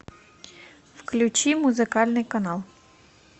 включи музыкальный канал